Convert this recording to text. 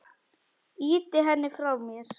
Ýti henni frá mér.